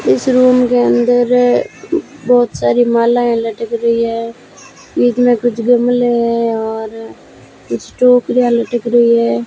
इस रूम के अंदर बहुत सारी मालाएं लटक रही है बीच में कुछ गमले और कुछ टोकरियां लटक रही है।